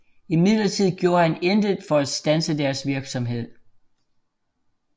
Imidlertid gjorde han intet for at standse deres virksomhed